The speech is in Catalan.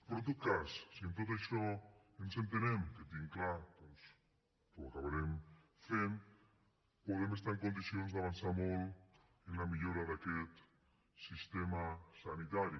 però en tot cas si en tot això ens entenem que tinc clar doncs que ho acabarem fent podem estar en condicions d’avançar molt en la millora d’aquest sistema sanitari